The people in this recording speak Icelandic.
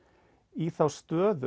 í þá stöðu